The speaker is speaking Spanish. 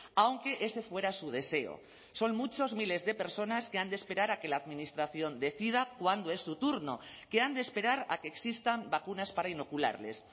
aunque ese fuera su deseo son muchos miles de personas que han de esperar a que la administración decida cuándo es su turno que han de esperar a que existan vacunas para inocularles